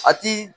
A ti